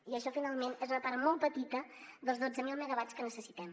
i això finalment és una part molt petita dels dotze mil megawatts que necessitem